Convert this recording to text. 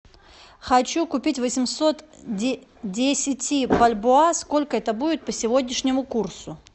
хочу купить восемьсот десяти бальбоа сколько это будет по сегодняшнему курсу